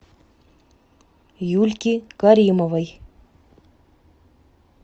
юльки каримовой